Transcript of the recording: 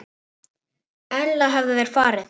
Ella hefðu þeir farið.